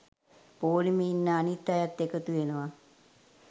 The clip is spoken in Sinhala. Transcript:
පෝලිමේ ඉන්න අනිත් අයත් එකතු වෙනවා.